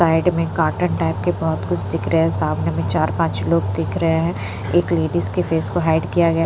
side में cotton type के बहुत कुछ दिख रहे है सामने में चार पाँच लोग दिख रहे हैं एक लेडीज के फेस को हाइड किया गया --